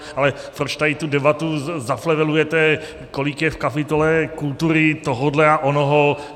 Ale proč tady tu debatu zaplevelujete, kolik je v kapitole kultury tohodle a onoho?